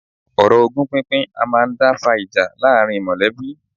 Ọ̀rọ̀ ogún pínpín a máà ń dá fa ìjà láàárín mọ̀lẹ́bí.